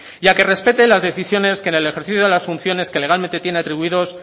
y a que respete la decisiones que en ejercicio de las funciones que legalmente tiene atribuidos